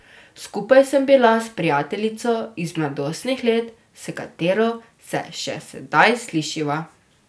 Skupaj sem bila s prijateljico iz mladostnih let, s katero se še sedaj slišiva.